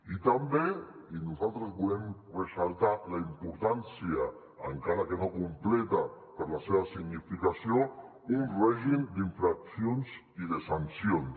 i també i nosaltres en volem ressaltar la importància encara que no completa per la seva significació un règim d’infraccions i de sancions